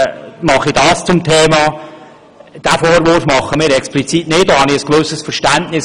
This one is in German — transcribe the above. Diesen Vorwurf machen wir explizit nicht, denn dafür haben wir ein gewisses Verständnis.